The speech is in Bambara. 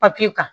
Papiye kan